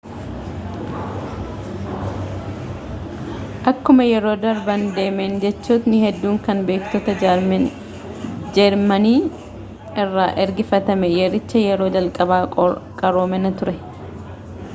akkuma yeroon darba deemen jechootni hedduun kan beektoota jeermanii irra ergifatame yericha yeroo jalqabaa qaroomina ture